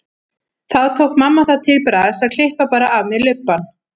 Þá tók mamma það til bragðs að klippa bara af mér lubbann.